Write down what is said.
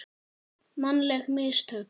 Mannleg mistök?